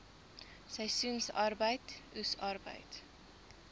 seisoensarbeid oes arbeid